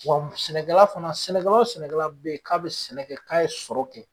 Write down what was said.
Wa sɛnɛkɛla fana sɛnɛkɛla o sɛnɛkɛla be ye k'a bɛ sɛnɛ kɛ, k'a ye sɔrɔ kɛ